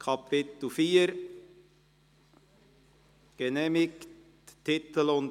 Wir kommen zu weiteren, nicht bestrittenen Artikeln.